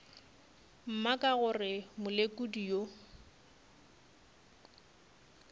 mma ka gore molekodi yo